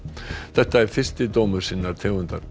þetta er fyrsti dómur sinnar tegundar